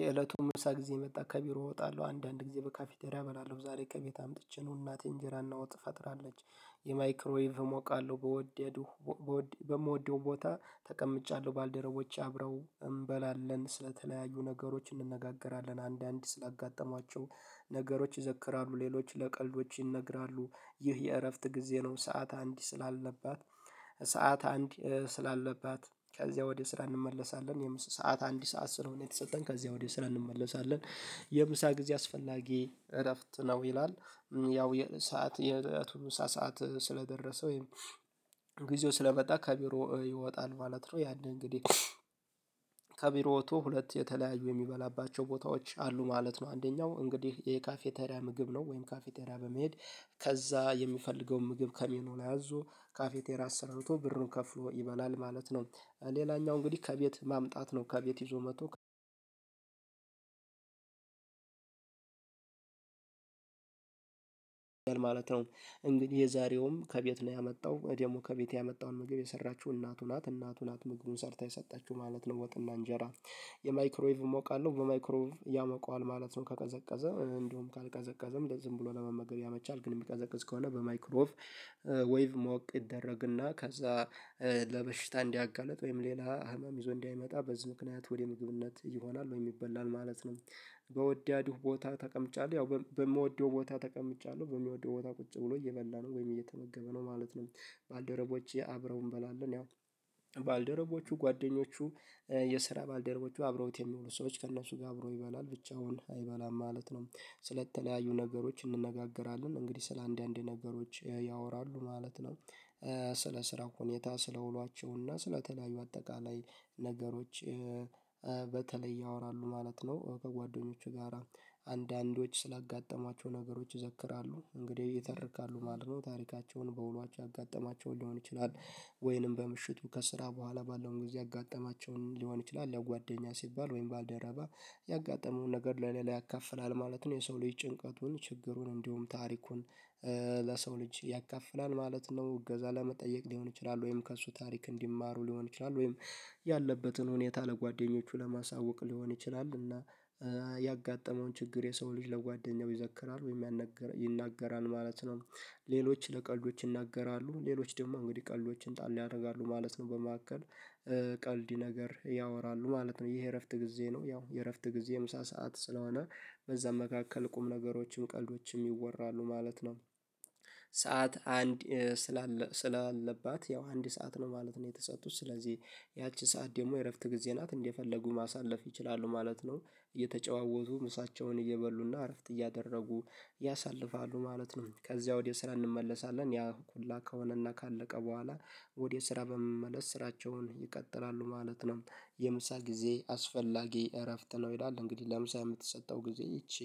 የእለቱን ምሳ ጊዜ የመጣ ከቢሮ እወጣለሁ አንዳንድ ጊዜ በካፊቴሪያ እበላለው ዛሬ ከቤት አምጥቼ ነው እናቴን እንጀራና ወጥ ፈጥራለች። የማይክሮዌቭ እሞቃለው በወደዱ በምወደው ቦታ ተቀምጫለሁ ባልደረቦቼ አብረው እንበላለን ስለተለያዩ ነገሮች እንነጋገራለን አንዳንድ ስላጋጠሟቸው ነገሮች ይዘክራሉ ሌሎች ለቀልዶች ይነግራሉ ይህ የእረፍት ጊዜ ነው ሰዓት አንድ ስላለባት አንድ ስላለባት ከዚያ ወዲህ ስራ እንመለሳለን የምስ ሰዓት አንድ ሰዓት ስለሆነ የተሰጠን ከዚህ ወዲህ ስራ እንመለሳለን የምሳ ጊዜ አስፈላጊ እረፍት ነው ይላል። ያው የሰዓት የህይወቱን ምሴ ሰዓት ስለደረሰ ወይም ጊዜው ስለመጣ ከቢሮ ይወጣል ማለት ነው ያንን እንግዲህ ከቢሮ ወጥቶ ሁለት የተለያዩ የሚበላባቸው ቦታዎች አሉ ማለት ነው። አንደኛው እንግዲህ የካፌታሪያ ምግብ ነው ወይም ካፌቴሪያ በመሄድ ከዛ የሚፈልገውን ምግብ ከሜኖ ላይ አዙ ካፌቴራ አሰርቶ ብርኑ ከፍሎ ይበላል ማለት ነው። ሌላኛው እንግዲህ ከቤት ማምጣት ነው ከቤት ይዞ መቶ ማለት ነው እንግዲህ የዛሬውም ከቤት ነው ያመጣው ደግሞ ከቤት ያመጣውን ምግብ የሰራችው እናቱ ናት እናቱ ናት ምግቡን ሰርታ የሰጠችው ማለት ነው ወጥና እንጄራ። የማይክሮይቭ እሞቃለሁ በማይክሮይቭ ያሞቃዋል ማለት ነው ከቀዘቀዘ እንደውም ካልቀዘቀዘም ዝም ብሎ ለመመገብ ያመቻል ግን የሚቀዘቅዝ ከሆነ በማይክሮ ወይቭ ማወቅ ይደረግና ከዛ ለበሽታ እንዲያጋልጥ ወይም ሌላ ህመም ይዞ እንዳይመጣ በዚህ ምክንያት ወደ ምግብነት ይሆናል ወይ ይበላል ማለት ነው። በወዲያድሁ ቦታ ተቀምጫለሁ ያው በምወደው ቦታ ተቀምጫለሁ በምወደው ቦታ ቁጭ ብሎ እየበላ ነው ወይም እየተመገበ ነው ማለት ነው። ባልደረቦቼ አብረው እንበላለን ያው ባልደረቦቹ ጓደኞቹ የስራ ባልደረቦቹ አብሮት የሚዉሉ ሰዎች ከእነሱ ጋር አብሮ ይበላል ብቻውን አይበላም ማለት ነው። ስለተለያዩ ነገሮች እንነጋገራለን እንግዲህ ስለ አንዳንዴ ነገሮች ያወራሉ ማለት ነው። ስለ ስራ ሁኔታ ስለ ውሏቸው እና ስለተለያዩ አጠቃላይ ነገሮች በተለይ ያወራሉ ማለት ነው ከጓደኞቹ ጋራ አንዳንዶች ስላጋጠሟቸው ነገሮች ይዘክራሉ። እንግዲህ ይተረካሉ ማለት ነው ታሪካቸውን በውሏቸው ያጋጠማቸው ሊሆን ይችላል። ወይንም በምሽቱ ከስራ ቦኋላ ባለውን ጊዜ ያጋጠማቸውን ሊሆን ይችላል ያው ጓደኛ ሲባል ወይም ባልደረባ ያጋጠመውን ነገር ለሌላ ያካፍላል ማለት ነው። የሰው ልጅ ጭንቀቱን ችግሩን እንዲሁም ታሪኩን ለሰው ልጅ ያካፍላል ማለት ነው እገዛ ለመጠየቅ ሊሆን ይችላል ወይም ከእሱ ታሪክ እንዲማሩ ሊሆን ይችላል ወይም ያለበትን ሁኔታ ለጓደኞቹ ለማሳወቅ ሊሆን ይችላል እና ያጋጠመውን ችግር የሰው ልጅ ለጓደኛው ይዘክራል ወይ ይናገራል ማለት ነው። ሌሎች ለቀልዶች ይናገራሉ ሌሎች ደግሞ እንግዲህ ቀልዶችን ጣል ያደርጋሉ ማለት ነው በመካከል ቀልዲ ነገር ያወራሉ ማለት ነው ይሄ የእረፍት ጊዜ ነው ያው የእረፍት ጊዜ ምሳ ሰዓት ስለሆነ በዛም መካከል ቁም ነገሮችም ቀልዶችም ይወራሉ ማለት ነው። ሰዓት አንድ ስላለ ስላለባት ያው አንድ ሰዓት ነው ማለት ነው የተሰጡት ስለዚህ ሰዓት ደግሞ የእረፍት ጊዜ ናት እንደፈለጉ ማሳለፍ ይችላሉ ማለት ነው። እየተጨዋወቱ ምሳቸውን እየበሉና እረፍት እያደረጉ ያሳልፋሉ ማለት ነው። ከዚያ ወዲያ ስራ እንመለሳለን ያ ኩላ ከሆነና ካለቀ ቦኋላ ወደ ስራ በመመለስ ስራቸውን ይቀጥላሉ ማለት ነው። የምሳ ጊዜ አስፈላጊ እረፍት ነው ይላል እንግዲህ ለምሳ የምትሰጠው ጊዜ ይቺ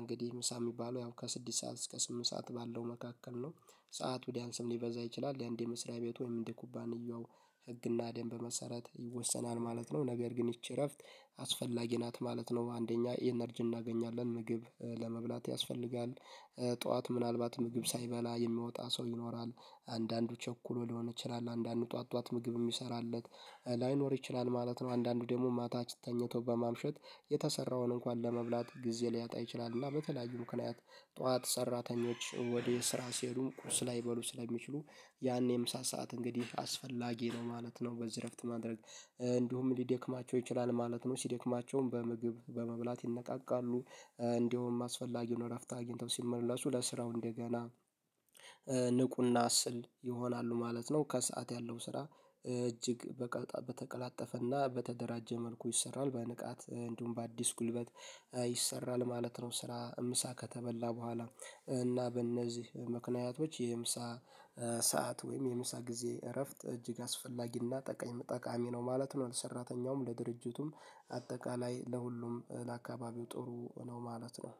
እንግዲህ ምሳ የሚባለው ያው ከስድስት ሰዓት እስከ ስምንት ሰዓት ባለው መካከል ነው ሰዓቱ ሊያንስም ሊበዛ ይችላል። የአንዴ መስሪያ ቤት ወይም እንደ ኩባንያው ህግና ደንብ መሰረት ይወሰናል ማለት ነው። ነገር ግን ይቺ እረፍት አስፈላጊ ናት ማለት ነው አንደኛ ኢነርጂ እናገኛለን ምግብ ለመብላት ያስፈልጋል። ጡዋት ምናልባት ምግብ ሳይበላ የሚያወጣ ሰው ይኖራል። አንዳንዱ ቸኩሎ ሊሆን ይችላል አንዳንዱ ጡዋት ጡዋት ምግብ የሚሰራለት ላይኖር ይችላል ማለት ነው። አንዳንዱ ደግሞ ማታ ተኝተው በማምሸት የተሰራውን እንኳን ለመብላት ጊዜ ሊያጣ ይችላልና በተለያዩ ምክንያት ጡዋት ሰራተኞች ወደ ስራ ሲሄዱ ቁርስ ላይበሉ ስለሚችሉ ያኔ ምሳ ሰዓት እንግዲህ አስፈላጊ ነው ማለት ነው በዚህ እረፍት ማድረግ እንዲሁም ሊደክማቸው ይችላል ማለት ነው ሲደክማቸውም በምግብ በመብላት ይነቃቃሉ። እንደውም አስፈላጊዉን ነው እረፍት አግኝተው ሲመለሱ ለስራው እንደገና ንቁና ስል ይሆናሉ ማለት ነው ከሰአት ያለው ስራ እጅግ በተቀላጠፈና በተደራጀ መልኩ ይሰራል። በንቃት እንዲሁም በአዲስ ጉልበት ይሰራል ማለት ነው ስራ ምሳ ከተበላ ቦኋላ እና በእነዚህ ምክንያቶች የምሳ ሰዓት ወይም የምሳ ጊዜ እረፍት እጅግ አስፈላጊና ጠቃሚ ነው ማለት ነው። ሰራተኛውም ለድርጅቱም አጠቃላይ ለሁሉም ለአካባቢው ጥሩ ነው ማለት ነው።